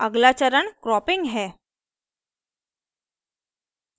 अगला चरण cropping है